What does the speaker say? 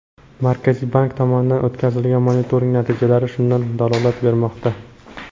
Markaziy bank tomonidan o‘tkazilgan monitoring natijalari shundan dalolat bermoqda .